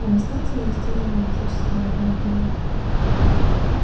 а на станции есть целая аналитическая лаборатория